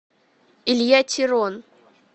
илья терон